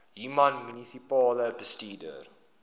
human munisipale bestuurder